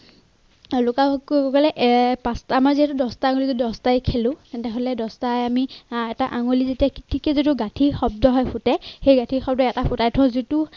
লুকা ভাকু বুলি কলে পাঁচটা মাজিৰ দছটা দছটাই খেলো তেন্তে হলে দছটাই আমি এটা আঙুলি যেতিয়া গাঁঠি শব্দ হৈ ফুঁটো সেই গাঁঠি শব্দ যিটো